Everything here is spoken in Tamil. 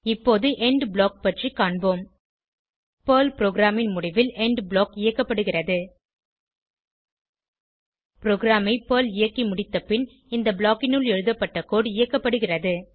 இப்போது எண்ட் ப்ளாக் பற்றி காண்போம் பெர்ல் புரோகிராம் ன் முடிவில் எண்ட் ப்ளாக் இயக்கப்படுகிறது ப்ரோகிராமை பெர்ல் இயக்கிமுடித்தப்பின் இந்த blockனுள் எழுதப்பட்ட கோடு இயக்கப்படுகிறது